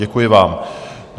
Děkuji vám.